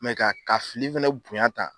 Mɛ ka ka fili fɛnɛ bonya tan